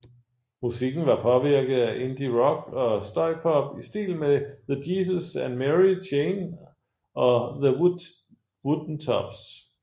Musikken var påvirket af indie rock og støjpop i stil med The Jesus and Mary Chain og The Woodentops